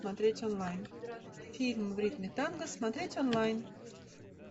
смотреть онлайн фильм в ритме танго смотреть онлайн